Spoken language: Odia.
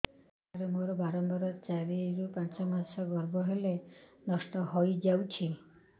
ସାର ମୋର ବାରମ୍ବାର ଚାରି ରୁ ପାଞ୍ଚ ମାସ ଗର୍ଭ ହେଲେ ନଷ୍ଟ ହଇଯାଉଛି